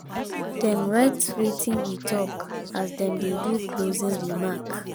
dem write wetin we talk as dem dey do closing remark.